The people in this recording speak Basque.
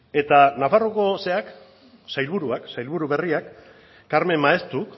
eta nafarroako sailburu berriak carmen maeztuk